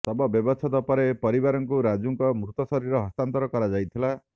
ଶବ ବ୍ୟବଛେଦ ପରେ ପରିବାରଙ୍କୁ ରାଜୁ ଙ୍କ ମୃତଶରୀର ହସ୍ତାନ୍ତର କରାଯାଇଥିଲା